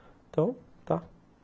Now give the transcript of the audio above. Então, tá.